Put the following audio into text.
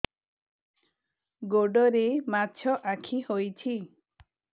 ଗୋଡ଼ରେ ମାଛଆଖି ହୋଇଛି